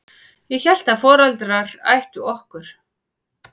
Ég hélt að foreldrar ættu okkur.